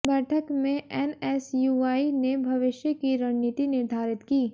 बैठक में एनएसयूआई ने भविष्य की रणनीति निर्धारित की